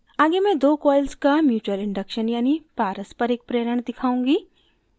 आगे मैं दो coils का mutual induction यानि पारस्परिक प्रेरण दिखाऊँगी